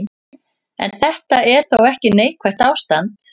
En þetta er þó ekki neikvætt ástand.